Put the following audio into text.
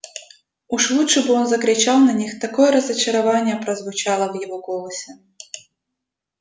уж лучше бы он закричал на них такое разочарование прозвучало в его голосе